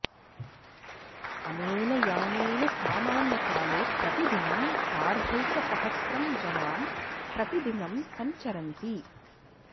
अनेन यानेन सामान्यकाले प्रतिदिनं सार्धैकसहस्रं जनां प्रतिदिनं सञ्चरन्ति